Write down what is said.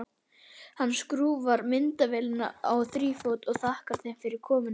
Hann skrúfar myndavélina á þrífót og þakkar þeim fyrir komuna.